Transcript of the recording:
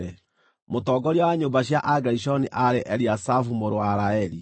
Mũtongoria wa nyũmba cia Agerishoni aarĩ Eliasafu mũrũ wa Laeli.